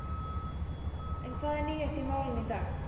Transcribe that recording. En hvað er nýjast í málinu í dag?